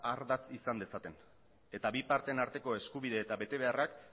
ardatz izan dezaten eta bi parteen arteko eskubide eta betebeharrak